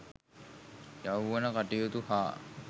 යෞවන කටයුතු හා